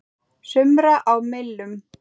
sumra á millum.